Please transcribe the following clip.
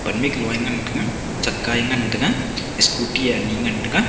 pan miklo a ngan tega chaka e ngan tega scooty e ani ngan tega.